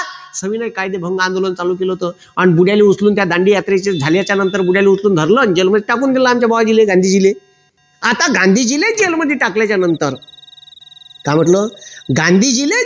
सविनय कायदेभंग आंदोलन चालू केलं होतं आणि बुड्याले उचलून दांडी यात्रेचे झाल्यानंतर बुड्याले धरल आणि जेलमध्ये टाकून दिलं आमच्या बुवा ले गांधीजीले आता गांधीजीले जेलमध्ये टाकल्यानंतर काय म्हटलं गांधीजी ले